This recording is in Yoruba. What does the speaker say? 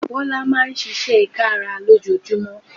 Bọ́lá Máa ń ṣiṣẹ́ kára lójoojúmọ́